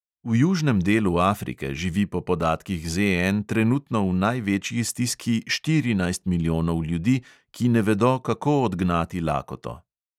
V južnem delu afrike živi po podatkih ZN trenutno v največji stiski štirinajst milijonov ljudi, ki ne vedo, kako odgnati lakoto.